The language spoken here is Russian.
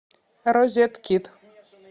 розеткид